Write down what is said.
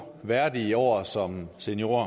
værdige år som seniorer